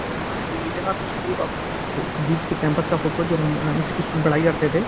यह division of school का बीच के कैंपस का फोटो जो म्म इसी के स्कूल में पढ़ाई करते थे।